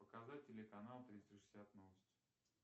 показать телеканал триста шестьдесят новости